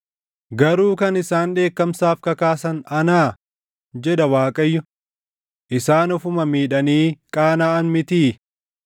Garuu kan isaan dheekkamsaaf kakaasan anaa? jedha Waaqayyo. Isaan ofuma miidhanii qaanaʼan mitii?